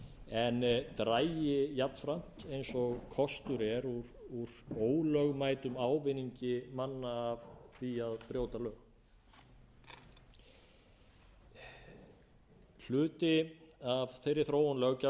en dragi jafnframt eins og kostur er úr ólögmætum ávinningi manna af því að brjóta lög hluti af þeirri þróun löggjafar